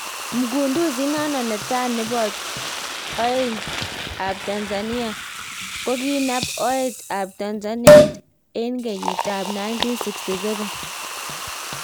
Mgunduzi inano ne taa nepo oet ap tanzanite, kokinap oet ap tanzanite en keyit ap 1967